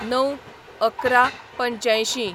०९/११/८५